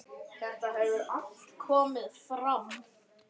Þetta hefur allt komið fram.